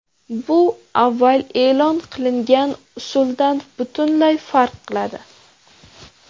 Bu avval e’lon qilingan usuldan butunlay farq qiladi.